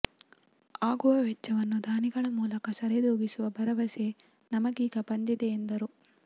ಆಗುವ ವೆಚ್ಚವನ್ನು ದಾನಿಗಳ ಮೂಲಕ ಸರಿದೂಗಿಸುವ ಭರವಸೆ ನಮಗೀಗ ಬಂದಿದೆ ಎಂದರು